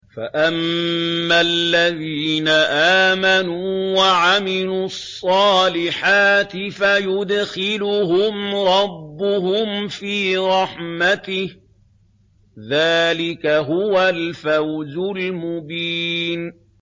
فَأَمَّا الَّذِينَ آمَنُوا وَعَمِلُوا الصَّالِحَاتِ فَيُدْخِلُهُمْ رَبُّهُمْ فِي رَحْمَتِهِ ۚ ذَٰلِكَ هُوَ الْفَوْزُ الْمُبِينُ